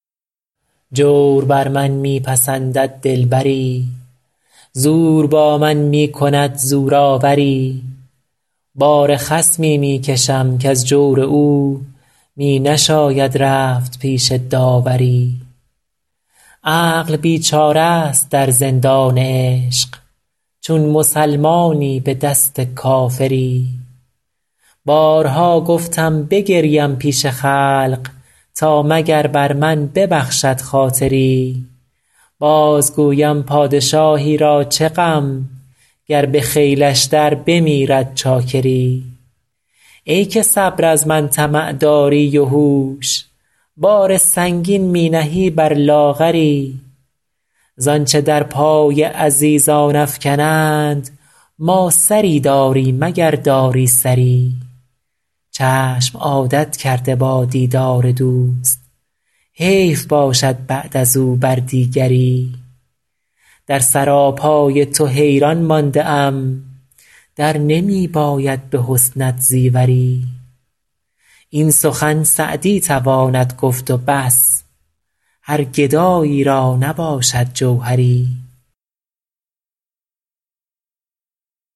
جور بر من می پسندد دلبری زور با من می کند زورآوری بار خصمی می کشم کز جور او می نشاید رفت پیش داوری عقل بیچاره ست در زندان عشق چون مسلمانی به دست کافری بارها گفتم بگریم پیش خلق تا مگر بر من ببخشد خاطری باز گویم پادشاهی را چه غم گر به خیلش در بمیرد چاکری ای که صبر از من طمع داری و هوش بار سنگین می نهی بر لاغری زآنچه در پای عزیزان افکنند ما سری داریم اگر داری سری چشم عادت کرده با دیدار دوست حیف باشد بعد از او بر دیگری در سراپای تو حیران مانده ام در نمی باید به حسنت زیوری این سخن سعدی تواند گفت و بس هر گدایی را نباشد جوهری